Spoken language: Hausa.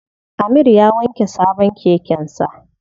Amir ya wanke sabon keken sa.